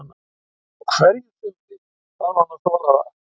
Á hverju sumri þarf hann að þola það.